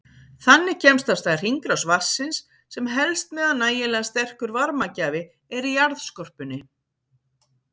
Þannig kemst af stað hringrás vatnsins sem helst meðan nægilega sterkur varmagjafi er í jarðskorpunni.